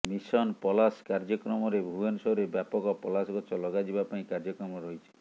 mission Palash କାର୍ଯ୍ୟକ୍ରମରେ ଭୁବନେଶ୍ୱରରେ ବ୍ୟାପକ ପଲାଶ ଗଛ ଲଗାଯିବା ପାଇଁ କାର୍ଯ୍ୟକ୍ରମ ରହିଛି